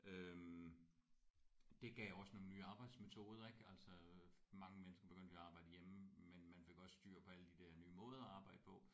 Øh det gav også nogle nye arbejdsmetoder ik altså øh mange mennesker begyndte jo at arbejde hjemme men man fik også styr på alle de der nye måder at arbejde på